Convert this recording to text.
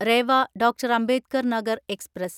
Reva doctor Ambedkar Nagar express